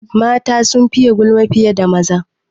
Mata sun fiye gulma fiye da maza.